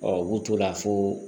u b'u to la fo